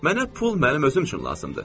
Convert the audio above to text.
Mənə pul mənim özüm üçün lazımdır.